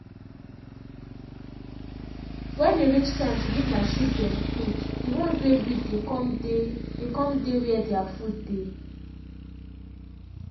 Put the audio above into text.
when e reach time to give my sheepa dem food the ones wey big dey come dey dey come dey were thr food dey.